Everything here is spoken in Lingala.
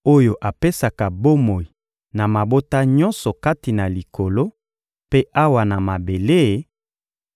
oyo apesaka bomoi na mabota nyonso kati na Likolo mpe awa na mabele,